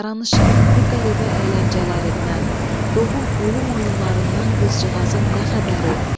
Yaranışın bu qəribə əyləncələrindən, doğum ölüm oyunlarından qızcığazın nə xəbəri?